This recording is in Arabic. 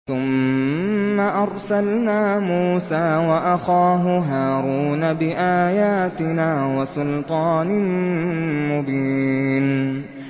ثُمَّ أَرْسَلْنَا مُوسَىٰ وَأَخَاهُ هَارُونَ بِآيَاتِنَا وَسُلْطَانٍ مُّبِينٍ